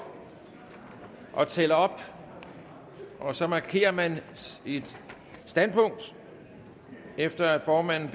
og tæller op og så markerer man sit standpunkt efter at formanden